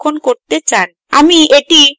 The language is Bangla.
আমি এটি desktop এ সংরক্ষণ করতে চাই